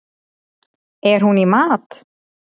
Er hún í mat?